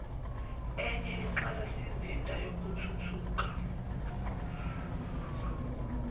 enye inqalasizinda yezokuthutha